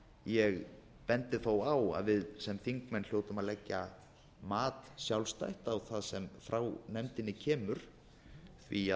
ég bendi þó á að við sem þingmenn hljótum að leggja sjálfstætt mat á það sem frá nefndinni kemur því